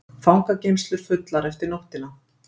Fangageymslur fullar eftir nóttina